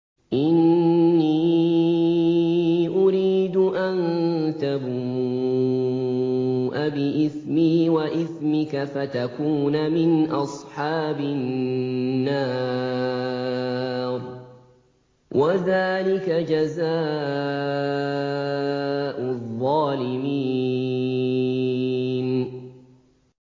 إِنِّي أُرِيدُ أَن تَبُوءَ بِإِثْمِي وَإِثْمِكَ فَتَكُونَ مِنْ أَصْحَابِ النَّارِ ۚ وَذَٰلِكَ جَزَاءُ الظَّالِمِينَ